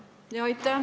Aitäh!